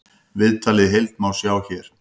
Viðtalið í heild má sjá hér